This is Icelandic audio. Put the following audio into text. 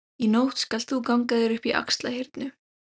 Í nótt skalt þú ganga þér upp í Axlarhyrnu.